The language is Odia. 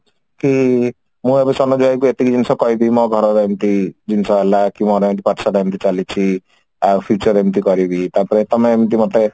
କି ମୁଁ ଏବେ ସରୋଜ ଭାଇଙ୍କୁ ଏତିକି ଜିନିଷ କହିବି ମୋ ଘରର ଏମତି ଜିନିଷ ହେଲା କି ମୋର ଏମିତି ପାଠ ସାଠ ଏମିତି ଚାଲିଛି ଆଉ future ଏମିତି କରିବି ତାପରେ ତମେ ଏମତି ମୋତେ